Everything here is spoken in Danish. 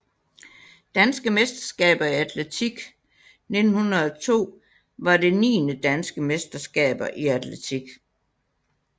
Danske mesterskaber i atletik 1902 var det niende Danske mesterskaber i atletik